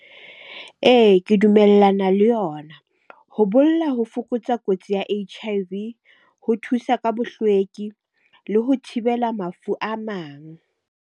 Ee, ke dumellana le yona. Ho bolla ho fokotsa kotsi ya H_I_V, ho thusa ka bohlweki le ho thibela mafu a mang.